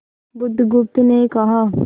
बुधगुप्त ने कहा